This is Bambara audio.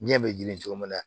Diɲɛ bɛ ɲini cogo min na